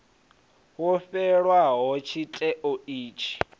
wo fhelaho tshite wa itshi